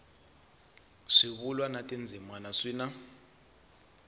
swivulwa na tindzimana swi na